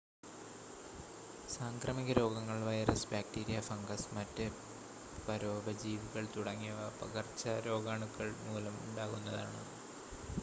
സാംക്രമിക രോഗങ്ങൾ virus bacteria fungus മറ്റ് പരോപജീവികൾ തുടങ്ങിയ പകർച്ചരോഗാണുക്കൾ മൂലം ഉണ്ടാകുന്നതാണ്